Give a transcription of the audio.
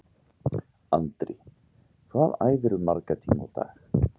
Andri: Hvað æfirðu marga tíma á dag?